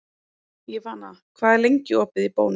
Ívana, hvað er lengi opið í Bónus?